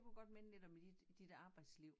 Det kunne godt minde lidt om dit dit arbejdsliv